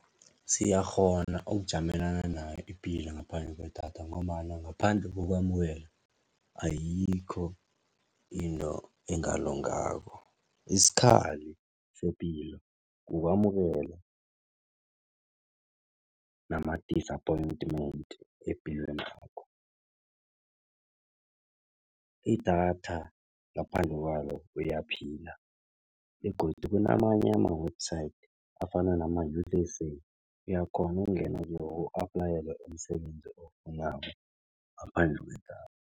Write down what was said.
Siyakghona ukujamelana nayo ipilo ngaphandle kwedatha ngombana ngaphandle kokwamukela, ayikho into engalungako isikhali sepilo, kukwamukela nama-disappointment epilwenakho. Idatha ngaphandle kwalo uyaphila begodu kunamanye ama-website afana nama uyakghona ukungena kiwo u-aplayele umsebenzi owufunako ngaphandle kwedatha.